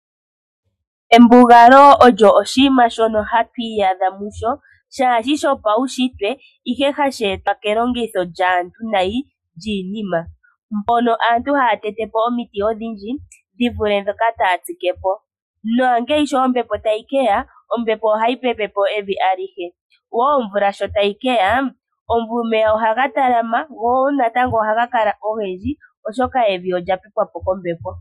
Embugalo olyo oshinima shono hatu iyadha musho shaashi shopaunshitwe, ihe hashi etitwa kelongitho lyaantu nayi lyiinima. Mbono aantu haya tete po omiti odhindji dhi vule ndhoka taa tsike po. Naashi ombepo sho tayi ke ya ohayi pepe po evi alihe yo nomvula sho tayi ka loka omeya ohaga talama, go ohaga kala ogendji, oshoka evi olya pepwa po kombepo.